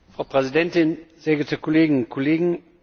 Frau Präsidentin, sehr geehrte Kolleginnen und Kollegen!